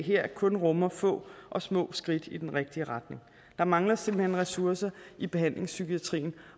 her kun rummer få og små skridt i den rigtige retning der mangler simpelt hen ressourcer i behandlingspsykiatrien